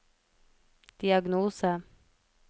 diagnose